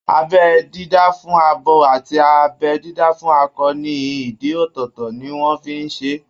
Abẹ́ dídá fún abo àti abẹ́ dídá fún akọ ní ìdí ọ̀tọ̀ọ̀tọ̀ tí wọ́n fi ń ṣe é